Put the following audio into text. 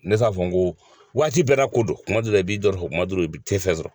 Ne se k'a fɔ n ko waati bɛɛ n'a ko do kuma dɔ la i bi dɔ sɔrɔ kuma dɔ la i bɛ tɛ fɛn sɔrɔ.